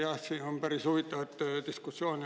Hea minister!